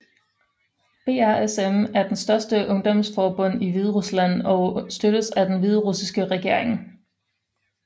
BRSM er den største ungdomsforbund i Hviderusland og støttes af den hviderussiske regering